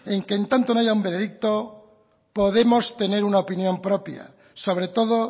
en que en tanto no haya un veredicto podemos tener una opinión propia sobre todo